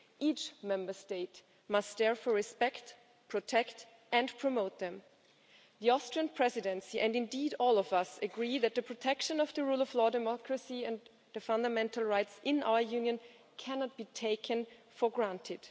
Each Member State must therefore respect, protect and promote them. The Austrian Presidency, and indeed all of us, agree that protection of the rule of law, democracy and fundamental rights in our Union cannot be taken for granted.